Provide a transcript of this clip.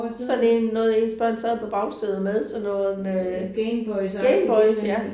Sådan en noget ens børn sad på bagsædet med sådan noget Gameboys ja